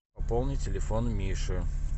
пополни телефон миши